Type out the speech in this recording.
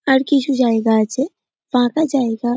আর কিছু জায়গা আছে ফাঁকা জায়গা--